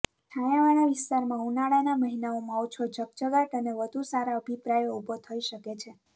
છાયાવાળા વિસ્તારમાં ઉનાળાના મહિનાઓમાં ઓછો ઝગઝગાટ અને વધુ સારા અભિપ્રાયો ઊભો થઈ શકે છે